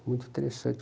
Muito interessante.